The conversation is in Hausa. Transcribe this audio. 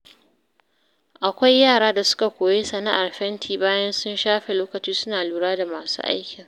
Akwai yara da suka koyi sana'ar fenti bayan sun shafe lokaci suna lura da masu aikin.